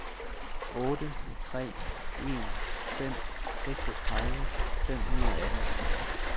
otte tre en fem seksogtredive fem hundrede og atten